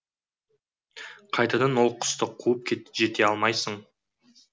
қайтадан ол құсты қуып жете алмайсың